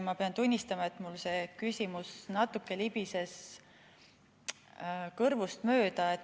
Ma pean tunnistama, et mul see küsimus natuke libises kõrvust mööda.